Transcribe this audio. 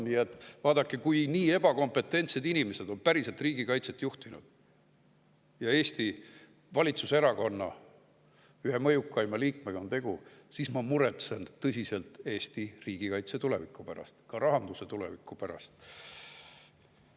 Nii et vaadake, kui nii ebakompetentsed inimesed on päriselt riigikaitset juhtinud ja tegu on Eesti valitsuserakonna ühe mõjukaima liikmega, siis ma muretsen tõsiselt Eesti riigikaitse tuleviku pärast, ka rahanduse tuleviku pärast.